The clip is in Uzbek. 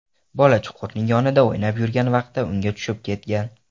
Bola chuqurning yonida o‘ynab yurgan vaqtda unga tushib ketgan.